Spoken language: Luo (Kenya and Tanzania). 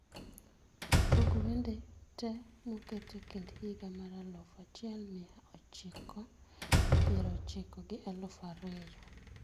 tug wende te moket e kind higa mar aluf achiel mia ochikopier ochiko gi aluf ariyo